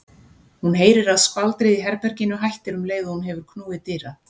Hún heyrir að skvaldrið í herberginu hættir um leið og hún hefur knúið dyra.